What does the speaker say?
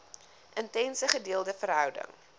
intense gedeelde verhouding